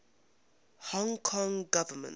hong kong government